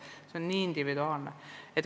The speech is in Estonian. Nii et see on väga individuaalne.